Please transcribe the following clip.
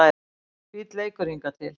Fínn leikur hingað til